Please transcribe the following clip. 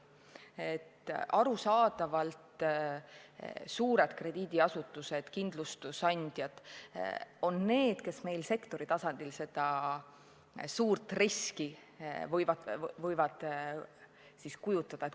Arusaadavalt võivad suured krediidiasutused ja kindlustusandjad selles sektoris endast suurt riski kujutada.